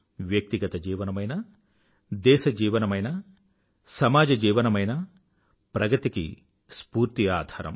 వ్యక్తిగత జీవనమైనా దేశ జీవనమైనా సమాజ జీవనమైనా ప్రగతికి స్ఫూర్తి ఆధారం